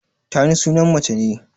Tani sunan mace ne.